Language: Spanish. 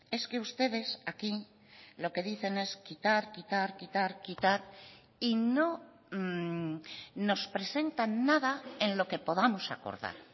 es que ustedes aquí lo que dicen es quitar quitar quitar quitar y no nos presentan nada en lo que podamos acordar